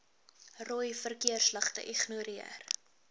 rooi verkeersligte ignoreer